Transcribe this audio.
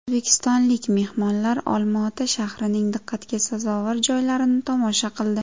O‘zbekistonlik mehmonlar Olmaota shahrining diqqatga sazovor joylarini tomosha qildi.